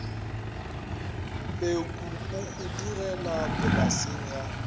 pekwa o hudugela polaseng ya